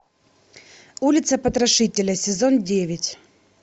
улица потрошителя сезон девять